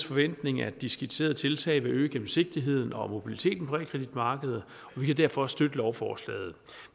forventning at de skitserede tiltag vil øge gennemsigtigheden og mobiliteten på realkreditmarkedet vi kan derfor støtte lovforslaget